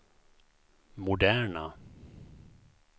moderna